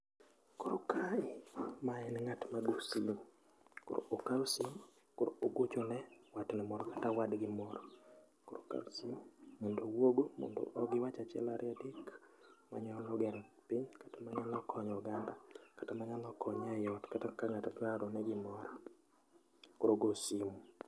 Koro kae, mae en ng'at ma go simu. Koro okao simu, koro ogochone watne moro kata wadgi moro. Koro okao simu mondo owuogo mondo giwach achiel ario adek manayalo gero piny kata manyalo konyo oganda kata manyalo konye eiot, kata ka ng'ato dwa orone gimoro. Koro ogo simu